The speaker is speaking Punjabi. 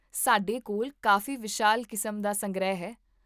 ਸਾਡੇ ਕੋਲ ਕਾਫ਼ੀ ਵਿਸ਼ਾਲ ਕਿਸਮ ਦਾ ਸੰਗ੍ਰਹਿ ਹੈ